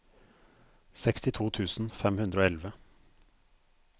sekstito tusen fem hundre og elleve